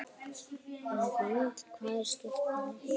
Hrund: Hvað er skipið langt?